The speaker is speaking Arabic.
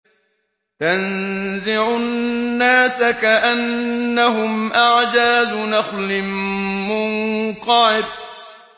تَنزِعُ النَّاسَ كَأَنَّهُمْ أَعْجَازُ نَخْلٍ مُّنقَعِرٍ